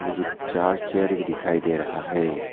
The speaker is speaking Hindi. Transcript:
मुझे चार चेयर भी दिखाई दे रहा है।